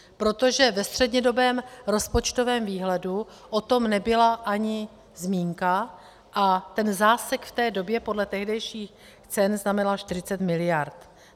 Protože ve střednědobém rozpočtovém výhledu o tom nebyla ani zmínka a ten zásek v té době podle tehdejších cen znamenal 40 mld.